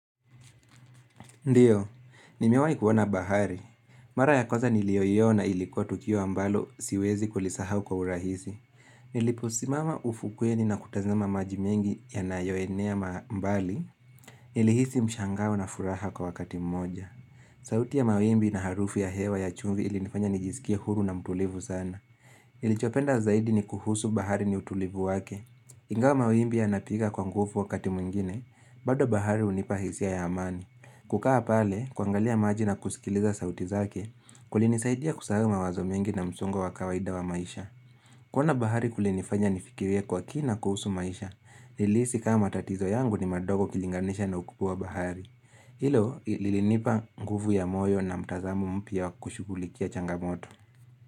Ndiyo, nimewai kuona bahari. Mara ya kwaza niliyoiona ilikuwa tukio ambalo siwezi kulisahau kwa urahisi. Niliposimama ufukweni na kutazama majimengi ya nayoenea mbali, nilihisi mshangao na furaha kwa wakati mmoja. Sauti ya mawimbi na harufu ya hewa ya chumvi ilinifanya nijisikie huru na mtulivu sana. Nilichopenda zaidi ni kuhusu bahari ni utulivu wake. Ingawa mawimbi yanapiga kwa nguvu wakati mwingine, bado bahari hunipa hisia ya amani. Kukaa pale, kuangalia maji na kusikiliza sauti zake, kulinisaidia kusahau mawazo mengi na msongo wa kawaida wa maisha. Kuona bahari kulinifanya nifikirie kwa kina kuhusu maisha, nilihisi kama tatizo yangu ni madogo kulinganisha na ukubwa wa bahari. Hilo lilinipa nguvu ya moyo na mtazamo mpya kushughulikia changamoto.